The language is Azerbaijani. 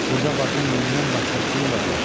Burda bacın neynindən başqa kim ola bilər?